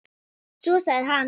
Svo sagði hann